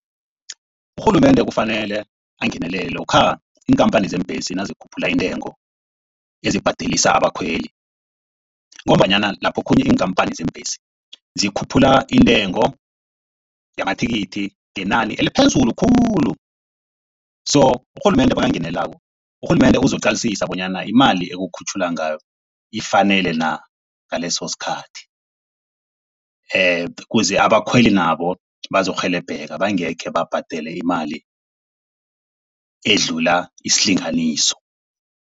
Urhulumende kufanele angenelele lokha iinkhamphani zeembhesi nazikhuphula intengo ezibhadelisa abakhweli. Ngombanyana lapho okhunye iinkhamphani zeembhesi zikhuphula intengo yamathikithi ngenani eliphezulu khulu, so urhulumende makangenelelako, urhulumende uzokuqalisisa bonyana imali ekukhutjhululwa ngayo ifanele na ngaleso sikhathi. Ukuze abakhweli nabo bazokurhelebheka bangekhe babhadele imali edlula isilinganiso.